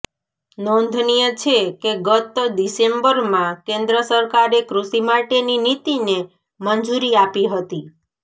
નોંધનિય છે કે ગત ડિસેમ્બરમાં કેન્દ્ર સરકારે કૃષિ માટેની નીતિને મંજૂરી આપી હતી